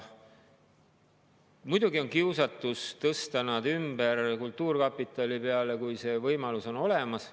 Muidugi on kiusatus tõsta nad ümber kultuurkapitali rea peale, kui see võimalus on olemas.